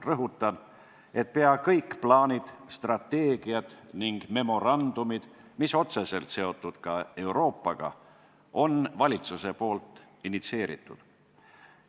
Rõhutan, et peaaegu kõik plaanid, strateegiad ning memorandumid, mis on otseselt seotud ka Euroopaga, on valitsuse initsieeritud.